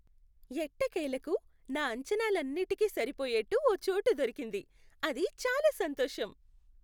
ఎట్టకేలకు, నా అంచనాలన్నింటికీ సరిపోయేట్టు ఒక చోటు దొరికింది, అది చాలా సంతోషం.